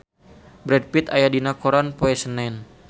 Brad Pitt aya dina koran poe Senen